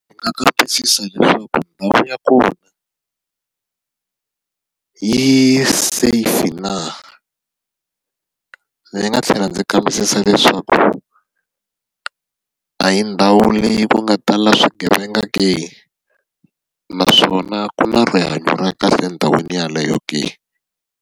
Ndzi nga kambisisa leswaku ndhawu ya kona yi safe na? Ndzi nga tlhela ndzi kambisisa leswaku, a hi ndhawu leyi ku nga tala swigevenga ke? Naswona ku na rihanyo ra kahle endhawini yeleyo ke?